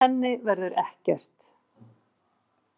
Úr henni verður ekkert.